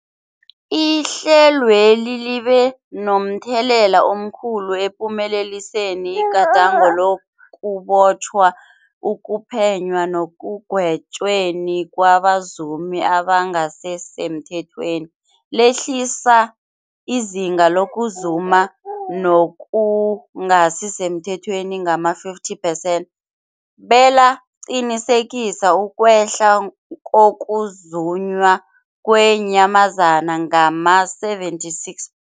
Ihlelweli libe momthelela omkhulu ekuphumeleliseni igadango lokubotjhwa, ukuphenywa nekugwetjweni kwabazumi abangasisemthethweni, lehlisa izinga lokuzuma okungasi semthethweni ngama-50 percent belaqinisekisa ukwehla kokuzunywa kweenyamazana ngama-76.